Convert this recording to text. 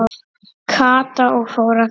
Kata og fór að gráta.